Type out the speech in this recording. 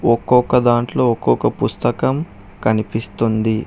ఒక్కొక దాంట్లో ఒక్కొక పుస్తకం కనిపిస్తుంది.